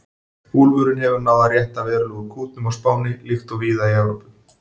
Úlfurinn hefur náð að rétta verulega úr kútnum á Spáni, líkt og víða í Evrópu.